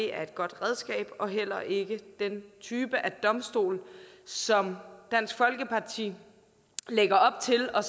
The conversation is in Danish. er et godt redskab og heller ikke den type af domstol som dansk folkeparti lægger op til og